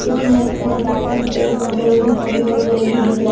इसमें एक थोड़ा गार्डन फूल वगैरह भी खंबे वगैरह भी दिख रहे--